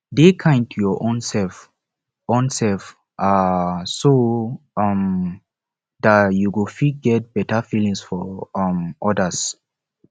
dey kind to your own self own self um so um dat you go feet get better feelings for um odas